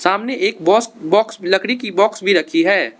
सामने एक box box लकड़ी की बॉक्स भी रखी है।